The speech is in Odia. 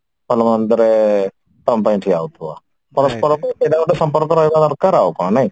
ଭଲ ମନ୍ଦରେ ତମ ପାଇଁ ଠିଆ ହଉଥିବ ପରସ୍ପରକୁ ସେଇଟା ଗୋଟେ ସମ୍ପର୍କ ରହିବା ଦରକାର ଆଉ କଣ